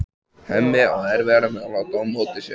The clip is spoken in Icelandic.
Hemmi á erfiðara með að láta á móti sér.